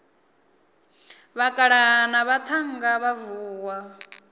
vhakalaha na vhaṱhannga vha vuwa